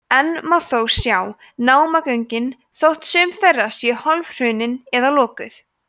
enn má þó sjá námagöngin þótt sum þeirra séu hálfhrunin eða lokuð